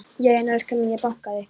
Já en elskan mín. ég bankaði!